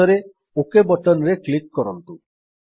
ଶେଷରେ OK button ରେ click କରନ୍ତୁ